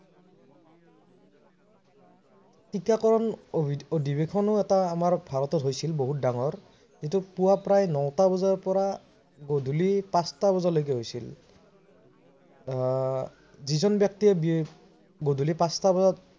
টিকাকৰণ অধিঅধিবেশনো আমাৰ ভাৰতত হৈছিল বহুত ডাঙৰ এইটো পূৱা প্ৰায় নটা বজাৰ পৰা গধূলি পাচটা বজালৈকে হৈছিল। আহ যিজন ব্যক্তিয়ে গধূলি পাচটা বজাত